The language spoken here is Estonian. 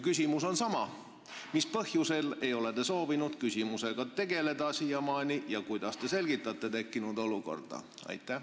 Küsimus on sama: mis põhjusel ei ole te soovinud siiamaani selle küsimusega tegeleda ja kuidas te selgitate tekkinud olukorda?